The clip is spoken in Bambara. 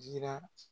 Jira